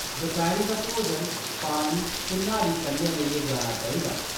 दपैह्‌‌री दा भोजन, पानी ते न्हारी कन्नै लेइयै जाना चाहिदा।